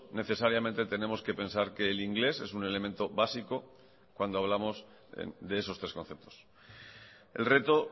necesariamente tenemos que pensar que el inglés es un elemento básico cuando hablamos de esos tres conceptos el reto